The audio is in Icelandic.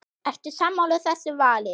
Eru sammála þessu vali?